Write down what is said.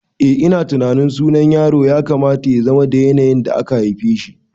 Eh ina tunanin sunan yaro ya kamata yazama da yanayin da aka haifeshi